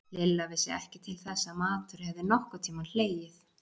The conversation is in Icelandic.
Lilla vissi ekki til þess að matur hefði nokkurn tímann hlegið.